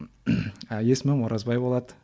есімім оразбай болады